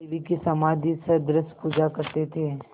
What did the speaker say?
देवी की समाधिसदृश पूजा करते थे